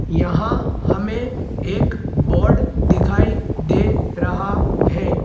यहां हमें एक बोर्ड दिखाई दे रहा है।